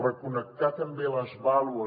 reconnectar també les baules